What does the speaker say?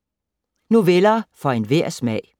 Noveller for enhver smag